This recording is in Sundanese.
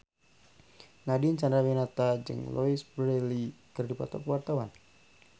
Nadine Chandrawinata jeung Louise Brealey keur dipoto ku wartawan